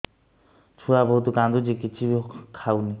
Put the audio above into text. ଛୁଆ ବହୁତ୍ କାନ୍ଦୁଚି କିଛିବି ଖାଉନି